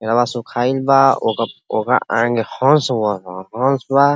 एहरवाँ सुखाइल बा| ओका ओकर आगे हंस हंस बा।